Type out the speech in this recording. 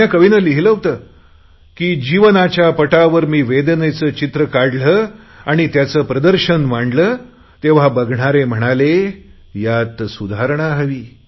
कुण्या कविने लिहिले होते की जीवनाच्या पटावर मी वेदनेचे चित्र काढले आणि त्याचे प्रदर्शन मांडले तेव्हा बघणारे म्हणाले यात सुधारणा हवी